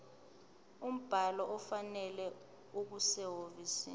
umbhalo ofanele okusehhovisi